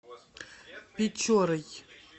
печорой